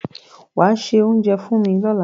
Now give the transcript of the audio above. Wàá se oúnjẹ fún mi lọ́la.